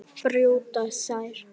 Vill brjóta þær.